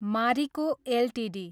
Marico Ltd